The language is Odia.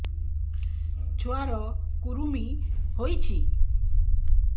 ଛୁଆ ର କୁରୁମି ହୋଇଛି